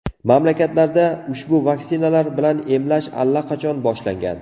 Mamlakatlarda ushbu vaksinalar bilan emlash allaqachon boshlangan.